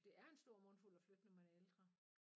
Det er en stor mundfuld at flytte når man er ældre